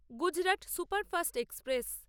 Gujarat superfast express